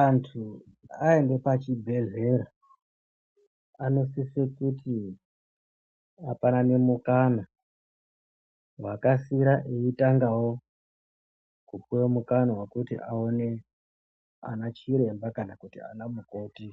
Antu aenda pachibhedhlera anosise kuti apanane mukana . Wakasira eitangawo kupuwa mukanwa wekuti aone anachiremba kana anamukoti